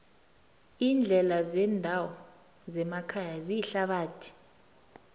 iindlela zendawo zemakhaya ziyithabathi